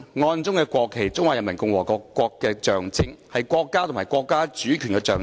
案中國旗是中華人民共和國的象徵，是國家和國家主權的象徵。